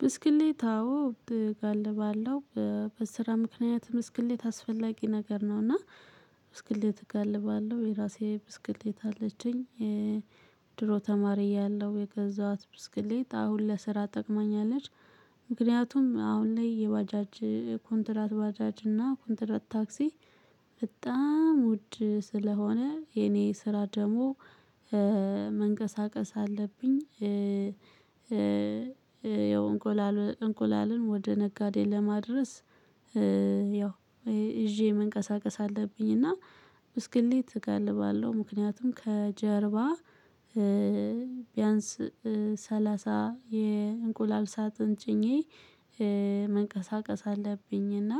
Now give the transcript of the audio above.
ብስክሌት አዎ እጋልባለሁ በስራ ምክንያት ብስክሌት አስፈላጊ ነገር ነው። እና ብስክሌት እጋልባለሁ የራሴ ብስክሌት አለችኝ። ድሮ ተማሪ እያለሁ የገዛኋት ብስክሌት አሁን ለስራ ጠቅማኛለች። ምክንያቱም አሁን ላይ የባጃጅ ኮንትራት ባጃጅ እና ኮንትራት ታክሲ በጣም ውድ ስለሆነ የኔ ስራ ደግሞ መንቀሳቀስ አለብኝ። እንቁላልን ወደ ነጋዴ ለማድረስ ያው ይዤ መንቀሳቀስ አለብኝ። እና ብስክሌት እገልባለሁ ምክንያቱም ከጀርባ ቢያንስ ሰላሳ የእንቁላል ሳጥን ጭኜ መንቀሳቀስ አለብኝ እና